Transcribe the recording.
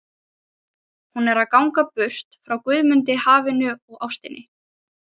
Hún er að ganga burt frá Guðmundi, hafinu og ástinni.